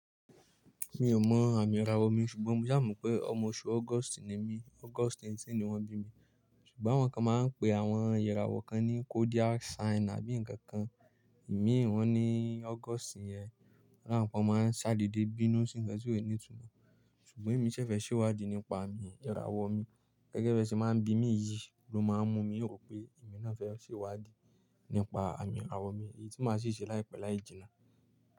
Mi ò mọ àmì ìràwọ̀ mi, ṣùgbọ́n mo sa mo pé ọmọ oṣù August ni mí, August 18 ni wọ́n bí mi. Ṣùgbọ́n àwọn kan máa ń pe àwọn ìràwọ̀ kan ní zodiac sign àbí ǹkan kan. Èmi ìwọ́n ni August yẹn, àwọn kan máa ń ṣàdeedé bínú sí ǹkan tí ò ní ìtumọ̀. Ṣùgbọ́n èmi ṣẹ̀ fẹ́ ṣèwádìí nípa àmì ìràwọ̀ mi gẹ́gẹ́ bí ẹ ṣe máa ń bí mi yìí ló máa ń mú mi rò pé èmi náà fẹ́ ṣèwádìí nípa àmì ìràwọ̀ mi, èyí tí máa sì ṣe láìpẹ́ láì jìnnà.